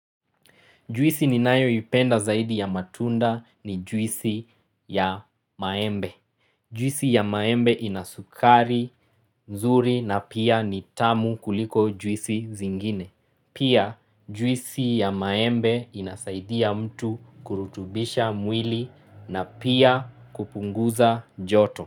Juisi ninayoipenda zaidi ya matunda ni juisi ya maembe. Juisi ya maembe ina sukari, nzuri na pia ni tamu kuliko juisi zingine. Pia juisi ya maembe inasaidia mtu kurutubisha mwili na pia kupunguza joto.